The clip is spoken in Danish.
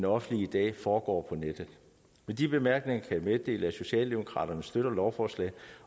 offentlige i dag foregår på nettet med de bemærkninger kan jeg meddele at socialdemokraterne støtter lovforslaget